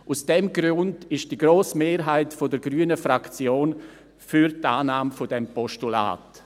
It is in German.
Aus diesem Grund ist die grosse Mehrheit der grünen Fraktion für die Annahme dieses Postulats.